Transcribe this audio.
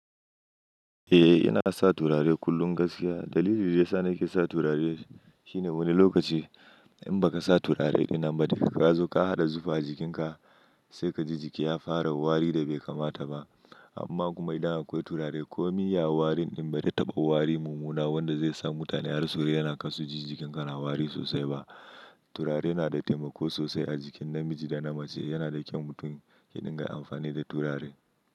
Eh, ina sa turare kullum gaskiya. Dalilin da ya sa na ke sa turare shi ne wani lokaci in ba ka sa turare ɗin nan daga ka zo ka haɗa zufa a jikinka sai ka ji jiki ya fara wari da bai kamata ba. Amma kuma idan akwai turare kumai ya wari in bai taba wari mumuna wanda zai sa mutane har su rai yana kasu ji jikinka na wari sosai ba. Turare na da taimako sosai a jikin namiji da na mace. Yana da kyau mutum ya dinga amfani da turare.